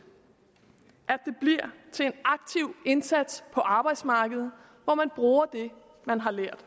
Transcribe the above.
at til en aktiv indsats på arbejdsmarkedet hvor man bruger det man har lært